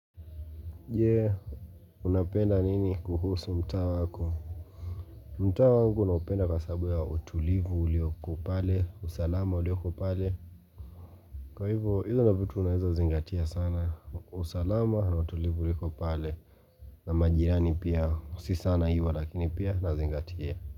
Jee, unapenda nini kuhusu mtaa wako? Mtaa wangu naupenda kwa sababu ya utulivu ulioko pale, usalama ulioko pale. Kwa hivyo, hivyo ndio vitu naweza zingatia sana, usalama na utulivu ulioko pale na majirani pia, sio sana hivyo lakini pia nazingatia.